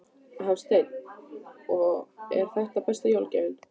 Hafsteinn: Og er þetta besta jólagjöfin?